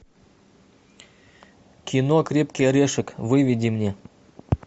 кино крепкий орешек выведи мне